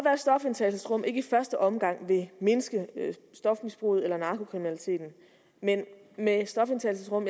at stofindtagelsesrum ikke i første omgang vil mindske stofmisbruget eller narkokriminaliteten men med stofindtagelsesrum